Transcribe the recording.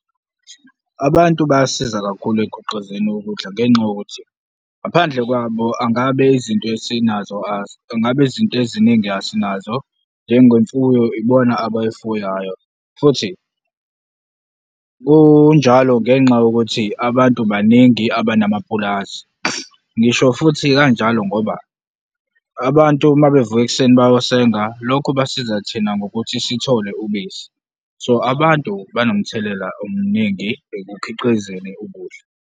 Abantu bayasiza kakhulu ekukhiqizeni ukudla ngenxa yokuthi, ngaphandle kwabo angabe izinto esinazo, ngabe izinto eziningi asinazo, njengemfuyo, ibona abayifuyayo futhi kunjalo ngenxa yokuthi abantu baningi abanamapulazi. Ngisho futhi kanjalo ngoba abantu uma bevuka ekuseni bayosenga, lokhu basiza thina ngokuthi sithole ubisi, so abantu banomthelela omningi ekukhiqizeni ukudla.